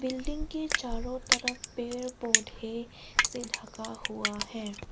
Building के चारों तरफ पेड़ पौधे से ढका हुआ है।